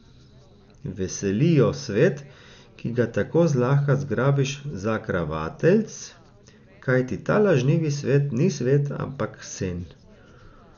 Veseli jo svet, ki ga tako zlahka zgrabiš za kravateljc, kajti ta lažnivi svet ni svet, ampak sen.